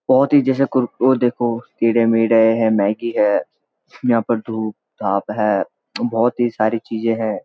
बहुत ही जैसे कोर वो देखो कीड़े-मीड़े हैं मैगी है यहां पे धूप-धाप है बहुत ही सारी चीजे हैं।